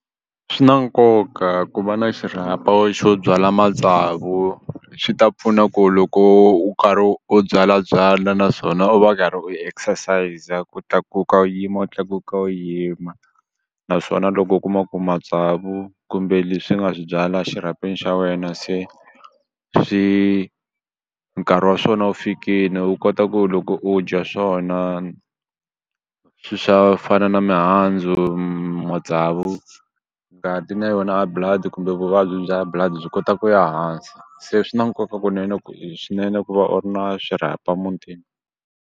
Swi na nkoka ku va na xirhapa xo byala matsavu swi ta pfuna ku loko u karhi u byala byala naswona u va u karhi u exercise ku tlakuka u yima u tlakuka u yima naswona loko u kuma ku matsavu kumbe leswi nga swi byala xirhapeni xa wena se swi nkarhi wa swona wu fikini u kota ku loko u dya swona swa fana na mihandzu matsavu ngati na yona High Blood kumbe vuvabyi bya High Blood byi kota ku ya hansi se swi na nkoka kunene ku swinene ku va u ri na xirhapa mutini.